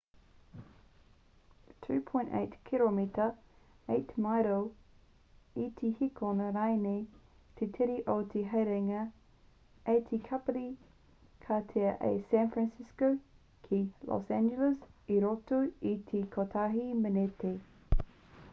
12.8 kiromita 8 maero i te hēkona rānei te tere o te haerenga a te kapiti ka taea a san fransisco ki los angeles i roto i te kotahi meneti